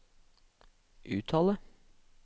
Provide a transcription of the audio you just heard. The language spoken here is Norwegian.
uttale